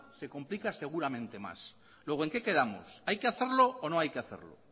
se complica seguramente más luego en qué quedamos hay que hacerlo o no hay que hacerlo